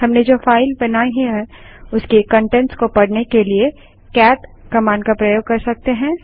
हमने जो फाइल बनाई है उसके कंटेंट्स को पढ़ने के लिए कैट कमांड का प्रयोग कर सकते हैं